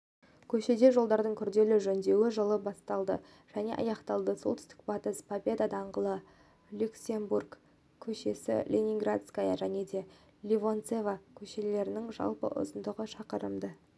көшеде жолдардың күрделі жөндеуі жылы басталды және аяқталды солтүстік-батыс победа даңғылы люксембург көшесі ленинградская және ливенцова көшелерінің жалпы ұзындығы шақырымды